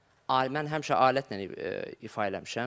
Mən həmişə alətlə ifa eləmişəm.